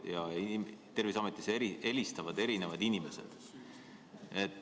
Ja Terviseametist helistavad erinevad inimesed.